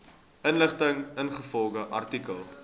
inligting ingevolge artikel